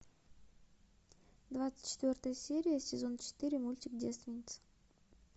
двадцать четвертая серия сезон четыре мультик девственница